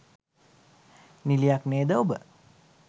නිළියක් නේද ඔබ?